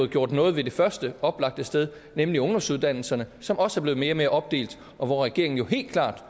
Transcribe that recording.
gjort noget ved det første oplagte sted nemlig ungdomsuddannelserne som også er blevet mere og mere opdelt og hvor regeringen jo helt klart